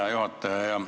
Hea juhataja!